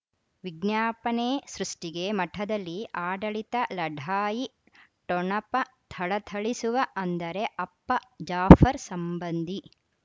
ವಿಜ್ಞಾಪನೆ ಸೃಷ್ಟಿಗೆ ಮಠದಲ್ಲಿ ಆಡಳಿತ ಲಢಾಯಿ ಠೊಣಪ ಥಳಥಳಿಸುವ ಅಂದರೆ ಅಪ್ಪ ಜಾಫರ್ ಸಂಬಂಧಿ